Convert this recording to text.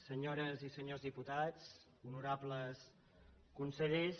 senyores i senyors diputats honorables consellers